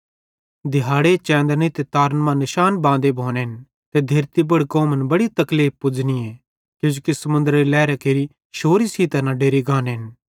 दिहाड़े चेंदनरी ते तारन मां निशान बांदे भोनेन ते धेरती पुड़ कौमन बड़ी तकलीफ़ पुज़नियें किजोकि समुन्द्रेरी लैहेरां केरि शौरी सेइं तैना डेरि गानेन